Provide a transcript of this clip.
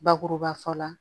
Bakuruba fɔ la